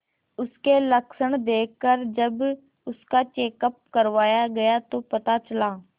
उसके लक्षण देखकरजब उसका चेकअप करवाया गया तो पता चला